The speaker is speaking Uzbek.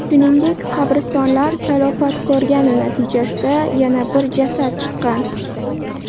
Shuningdek, qabristonlar talafot ko‘rgani natijasida yana bir jasad chiqqan.